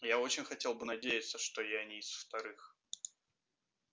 я очень хотел бы надеяться что и я не из вторых